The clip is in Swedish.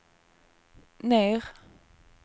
ner